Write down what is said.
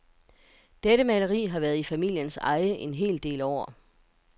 Dette maleri har været i familiens eje en hel del år.